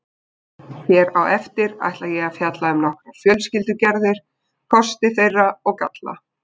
Hér á eftir ætla ég að fjalla um nokkrar fjölskyldugerðir, kosti þeirra og galla.